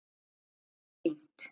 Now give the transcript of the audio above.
Þetta er mjög fínt.